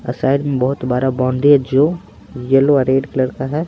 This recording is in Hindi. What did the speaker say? और साइड में बहुत बड़ा बाउंड्री है जो येलो और रेड कलर का है।